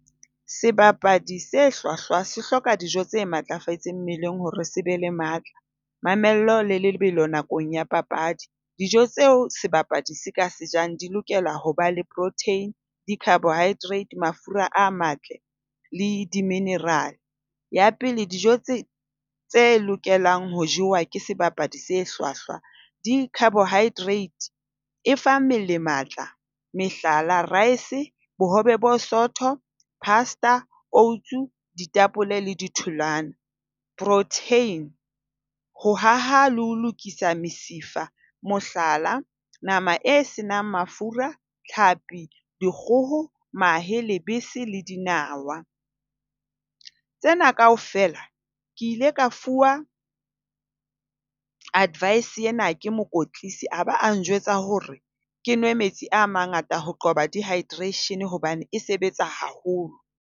Sebapadi se hlwahlwa se hloka dijo tse matlafetseng mmeleng hore se be le matla, mamello le lebelo nakong ea papadi. Dijo tseo sebapadi se ka se jang di lokela ho ba le protein, di-carbohydrate, mafura a matle le di-mineral. Ya pele, dijo tse tse lokelang ho jewa ke sebapadi se hlwahlwa, di-carbohydrates e fa mmele matla. Mehlala, rice, bohobe bo sootho, pasta, oats, ditapole le ditholoana. Protein, ho aha le ho lokisa mesifa, mohlala, nama e senang mafura, tlhapi, dikgoho, mahe, lebese le dinawa. Tsena kaofela ke ile ka fuwa advice ena ke mokwetlisi a ba a njwetsa hore ke nwe metsi a mangata ho qoba dehydration hobane e sebetsa haholo.